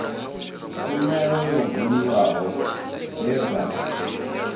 tshumelo yo buliwaho dze dza